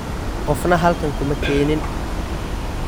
Qofna halkan kuma keenin.